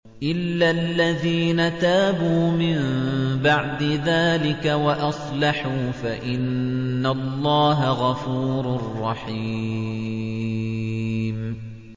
إِلَّا الَّذِينَ تَابُوا مِن بَعْدِ ذَٰلِكَ وَأَصْلَحُوا فَإِنَّ اللَّهَ غَفُورٌ رَّحِيمٌ